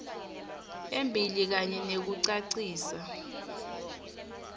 embili kanye nekucacisa